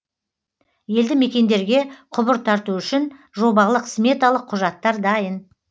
елді мекендерге құбыр тарту үшін жобалық сметалық құжаттар дайын